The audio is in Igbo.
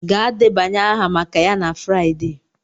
Gaa debanye aha maka ya na Friday!